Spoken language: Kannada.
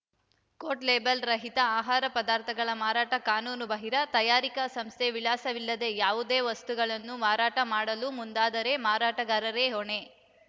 ಕೋಟ್‌ ಲೇಬಲ್‌ ರಹಿತ ಆಹಾರ ಪದಾರ್ಥಗಳ ಮಾರಾಟ ಕಾನೂನುಬಾಹಿರ ತಯಾರಿಕಾ ಸಂಸ್ಥೆ ವಿಳಾಸವಿಲ್ಲದ ಯಾವುದೇ ವಸ್ತುಗಳನ್ನು ಮಾರಾಟ ಮಾಡಲು ಮುಂದಾದರೆ ಮಾರಾಟಗಾರರೇ ಹೊಣೆ